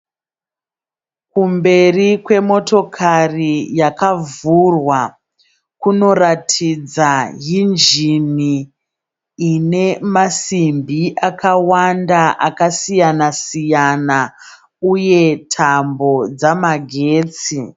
Kumberi kwemotokari yakavhurwa kunoratidza hinjini ine masimbi akawanda akasiyana siyana uye tambo dzamagetsi.